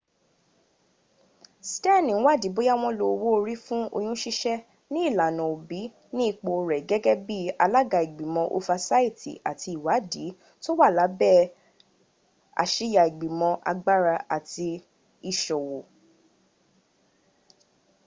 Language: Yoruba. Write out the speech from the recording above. steni n wádi bóya wọn lo owó orí fún oyún ṣíṣẹ́ ní ìlànà òbí ní ipò rẹ̀ gẹ́gẹ́ bi alága igbimo ofasaiti àti ìwádi tó wà lábẹ̀ àsíya igbimo agbára àti iṣòwò